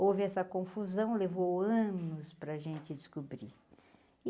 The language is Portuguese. Houve essa confusão, levou anos para a gente descobrir.